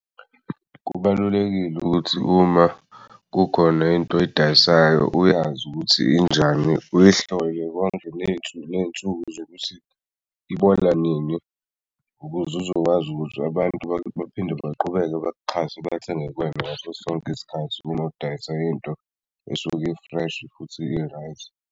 Kubalulekile ukuthi uma kukhona into oyidayisayo uyazi ukuthi injani uyihlole konke ney'nsuku ney'nsuku zokuthi ibola nini ukuze uzokwazi abantu baphinde baqhubeke bakuxhaswe bathenge kuwena ngaso sonke isikhathi uma udayisa into esuke i-fresh futhi i-right.